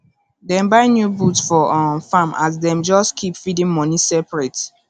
dem buy new boots for um farm as dem just keep feeding money separate